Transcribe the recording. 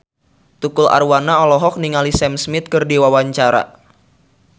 Tukul Arwana olohok ningali Sam Smith keur diwawancara